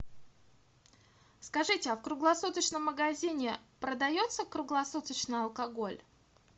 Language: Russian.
скажите а в круглосуточном магазине продается круглосуточно алкоголь